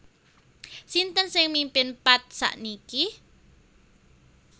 Sinten sing mimpin Path sakniki